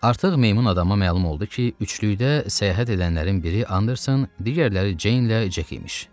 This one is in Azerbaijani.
Artıq meymun adama məlum oldu ki, üçlükdə səyahət edənlərin biri Anderson, digərləri Jenlə Jack imiş.